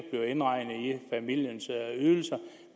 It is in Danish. familie